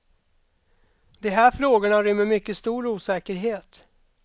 De här frågorna rymmer mycket stor osäkerhet.